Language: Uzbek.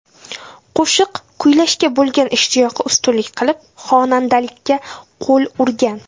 Qo‘shiq kuylashga bo‘lgan ishtiyoqi ustunlik qilib, xonandalikka qo‘l urgan.